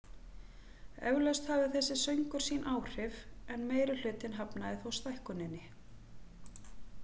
Eflaust hafði þessi söngur sín áhrif en meirihlutinn hafnaði þó stækkuninni.